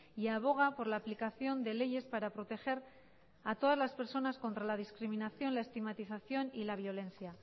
y aboga por la aplicación de leyes para proteger a todas las personas contra la discriminación la estigmatización y la violencia